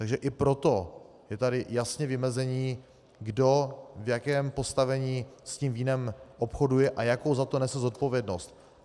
Takže i proto je tady jasné vymezení, kdo v jakém postavení s tím vínem obchoduje a jakou za to nese zodpovědnost.